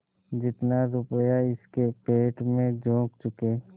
जितना रुपया इसके पेट में झोंक चुके